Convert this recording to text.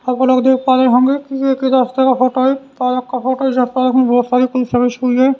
आप लोग देख पा रहे होंगे कि एक ही रास्ता का फोटो है पालक का फोटो है पालक में बहुत सारी क हुई है।